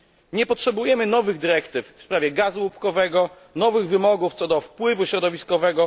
Nie potrzebujemy nowych dyrektyw w sprawie gazu łupkowego, nowych wymogów co do wpływu środowiskowego.